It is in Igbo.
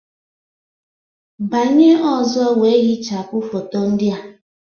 Banye ọzọ wee hichapụ foto ndị a